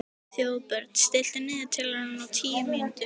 Þjóðbjörn, stilltu niðurteljara á tíu mínútur.